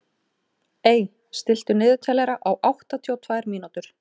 Ey, stilltu niðurteljara á áttatíu og tvær mínútur.